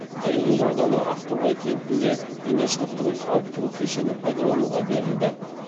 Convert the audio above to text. аягөз ауданы ақтоғай кентінде дене шынықтыру сауықтыру кешені пайдалануға берілді